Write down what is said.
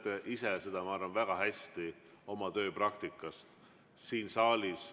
Te teate ise seda väga hästi oma tööpraktikast siin saalis.